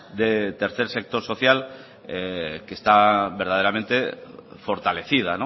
de tercer sector social que está verdaderamente fortalecida